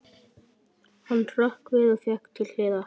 Hann hrökk við og vék til hliðar.